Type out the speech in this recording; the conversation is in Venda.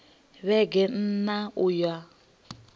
vhege n ṋ a uya